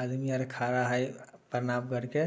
आदमी खड़े है प्रणाम करके।